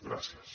gràcies